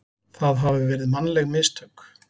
það hafi verið mannleg mistök.